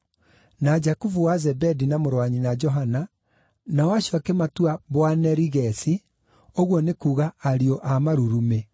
na Jakubu wa Zebedi na mũrũ wa nyina Johana (nao acio akĩmatua Boanerigesi, ũguo nĩ kuuga Ariũ a Marurumĩ);